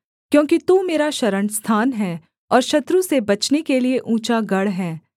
क्योंकि तू मेरा शरणस्थान है और शत्रु से बचने के लिये ऊँचा गढ़ है